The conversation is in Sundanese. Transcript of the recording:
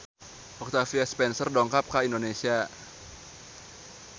Octavia Spencer dongkap ka Indonesia